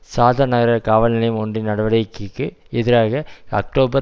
சாதர் நகர காவல் நிலையம் ஒன்றின் நடவடிக்கைக்கு எதிராக அக்டோபர்